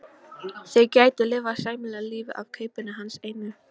Þau gætu lifað sæmilegu lífi af kaupinu hans einu.